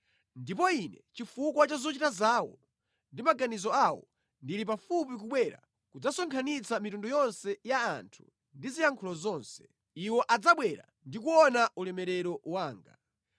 “Ndipo Ine, chifukwa cha zochita zawo ndi maganizo awo, ndili pafupi kubwera kudzasonkhanitsa mitundu yonse ya anthu ndi ziyankhulo zonse. Iwo adzabwera ndi kuona ulemerero wanga.